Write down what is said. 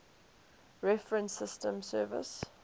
reference systems service